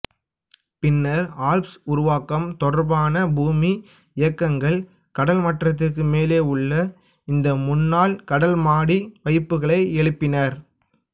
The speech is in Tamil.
பின்னர் ஆல்ப்ஸ் உருவாக்கம் தொடர்பான பூமி இயக்கங்கள் கடல் மட்டத்திற்கு மேலேயுள்ள இந்த முன்னாள் கடல் மாடி வைப்புகளை எழுப்பின